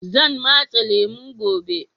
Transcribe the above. Zan matse lemu gobe.